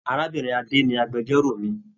Arábìnrin Ade ni agbẹ̀jọ́ro mí.